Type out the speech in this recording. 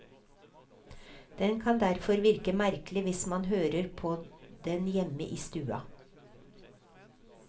Den kan derfor virke merkelig hvis man hører på den hjemme i stua.